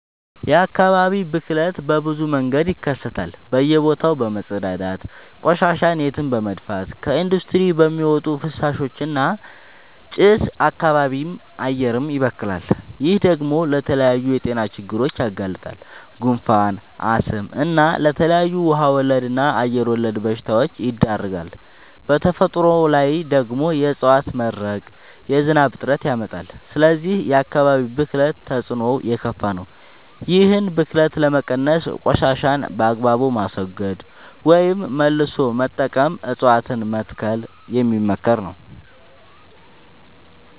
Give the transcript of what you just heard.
የአካባቢ ብክለት በብዙ መንገድ ይከሰታል በእየ ቦታው በመፀዳዳት፤ ቆሻሻን የትም በመድፍት፤ ከኢንዲስትሪ በሚወጡ ፍሳሾች እና ጭስ አካባቢም አየርም ይበከላል። ይህ ደግሞ ለተለያዩ የጤና ችግሮች ያጋልጣል። ጉንፋን፣ አስም እና ለተለያዩ ውሃ ወለድ እና አየር ወለድ በሽታወች ይዳርጋል። በተፈጥሮ ላይ ደግሞ የዕፀዋት መድረቅ የዝናብ እጥረት ያመጣል። ስለዚህ የአካባቢ ብክለት ተፅዕኖው የከፋ ነው። ይህን ብክለት ለመቀነስ ቆሻሻን በአግባቡ ማስወገድ ወይም መልሶ መጠቀም እፀዋትን መትከል የሚመከር ነው።